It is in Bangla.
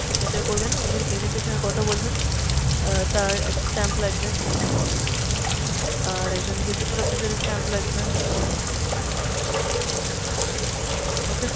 signature করবেন, একজন agent এর সঙ্গে কথা বলবেন অ্যাঁ তার একটা stamp লাগবে, আর একজন gazetted officer এর stamp লাগবে। okay!